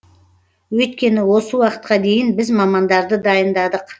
өйткені осы уақытқа дейін біз мамандарды дайындадық